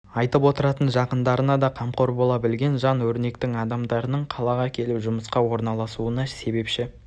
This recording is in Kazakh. айтып отыратын жақындарына да қамқор бола білген жан өрнектің адамдарының қалаға келіп жұмысқа орналасуына себепші